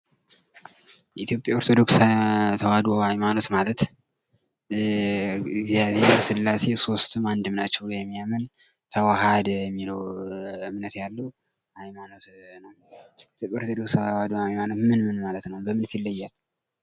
የኢትዮጵያ ኦርቶዶክስ ኦርቶዶክስ ተዋህዶ ሀይማኖት ማለት እግዚአብሔር ስላሴ ሶስትም አንድም ናቸው ብሎ የሚያምን ተዋሐደ የሚለው እምነት ያለው ሀይማኖት ነው ።ተዋህዶ ሃይማኖት ማለት ምን ማለት ነው? በምንስ ይለያል?